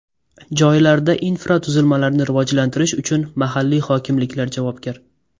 Joylarda infratuzilmalarni rivojlantirish uchun mahalliy hokimliklar javobgar.